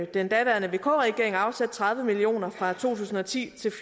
den daværende vk regering afsat tredive million kroner fra to tusind og ti til